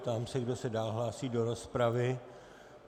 Ptám se, kdo se dál hlásí do rozpravy.